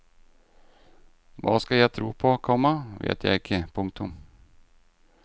Hva jeg skal tro på, komma vet jeg ikke. punktum